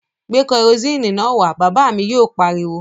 Gbé kerosini náà wá! Bàbá mi yóò pariwo